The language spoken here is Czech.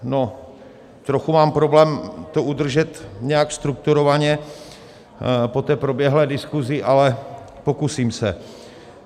Trochu mám problém to udržet nějak strukturovaně po té proběhlé diskuzi, ale pokusím se.